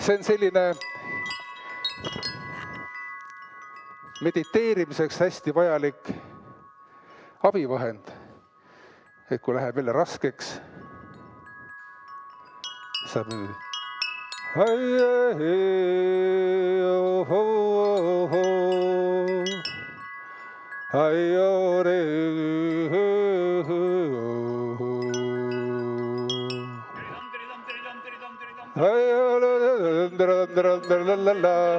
See on selline mediteerimiseks hästi vajalik abivahend – no kui läheb raskeks.